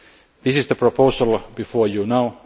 This is the proposal before you now.